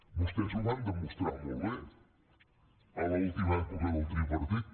vostès ho van demostrar molt bé a l’última època del tripartit